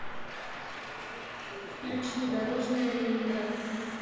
включи дорожная ленинград